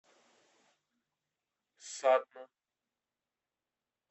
сатна